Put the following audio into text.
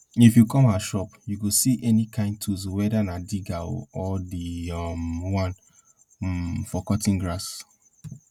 if you come our shop you go see any kain tools whether na digger or the um one um for cutting grass